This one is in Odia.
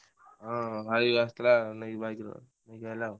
ହଁ ହଁ ଭାଇ ଆସିଥିଲା ନେଇକି ବାଇକ ନେଇକି ଆଇଲା ଆଉ।